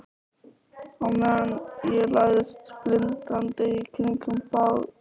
Á meðan ég læðist blindandi í kringum bálið.